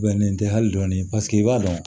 Bɛnnen tɛ hali dɔɔni paseke i b'a dɔn